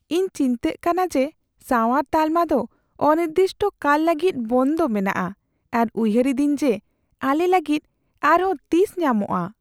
ᱤᱧ ᱪᱤᱱᱛᱟᱹᱜ ᱠᱟᱱᱟ ᱡᱮ ᱥᱟᱶᱟᱨ ᱛᱟᱞᱢᱟ ᱫᱚ ᱚᱱᱤᱨᱫᱤᱥᱴᱚ ᱠᱟᱞ ᱞᱟᱹᱜᱤᱫ ᱵᱚᱱᱫᱚ ᱢᱮᱱᱟᱜᱼᱟ ᱟᱨ ᱩᱭᱦᱟᱹᱨ ᱤᱫᱟᱹᱧ ᱡᱮ ᱟᱞᱮ ᱞᱟᱹᱜᱤᱫ ᱟᱨᱦᱚᱸ ᱛᱤᱥ ᱧᱟᱢᱚᱜᱼᱟ ᱾